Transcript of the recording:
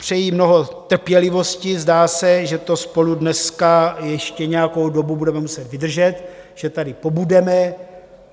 Přeji mnoho trpělivosti, zdá se, že to spolu dneska ještě nějakou dobu budeme muset vydržet, že tady pobudeme.